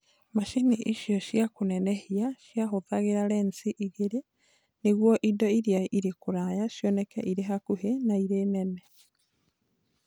macini icio cia kũnenehia ciahũthagĩra lensi igĩrĩ nĩguo indo iria irĩ kũraya cioneke irĩ hakuhĩ na irĩ nene.